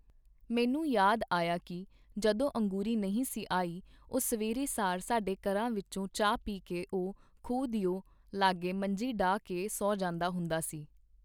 ਮੈਨੂੰ ਯਾਦ ਆਇਆ ਕੀ ਜਦੋਂ ਅੰਗੂਰੀ ਨਹੀਂ ਸੀ ਆਈ, ਉਹ ਸਵੇਰ ਸਾਰ ਸਾਡੇ ਘਰਾਂ ਵਿਚੋਂ ਚਾਹ ਪੀ ਕੇ ਉਹ ਖੂਹ ਦਿਓ ਲਾਗੇ ਮੰਜੀ ਡਾਹ ਕੇ ਸੌਂ ਜਾਂਦਾ ਹੁੰਦਾ ਸੀ.